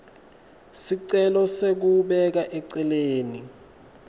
sicelo sekubeka eceleni